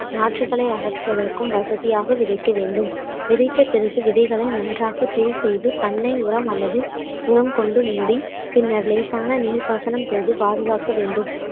நாற்றுக்களை அகற்றுவதற்கும் வசதியாக விதைக்க வேண்டும் விதைத்த பிறகு விதைகளை நன்றாக தூள் செய்து பண்ணை உரம் அல்லது உரம் கொண்டு மூடி பின்னர் லேசான நீர்ப்பாசனம் செய்து பாதுகாக்க வேண்டும்